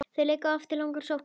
Þeir leika oft langar sóknir.